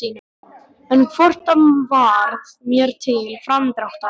En hvort það varð mér til framdráttar!!